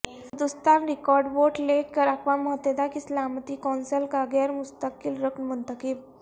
Hindustan record vote لے کر اقوام متحدہ کی سلامتی کونسل کا غیر مستقل رکن منتخب